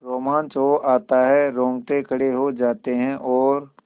रोमांच हो आता है रोंगटे खड़े हो जाते हैं और